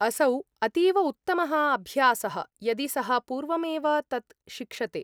असौ अतीव उत्तमः अभ्यासः यदि सः पूर्वमेव तत् शिक्षते।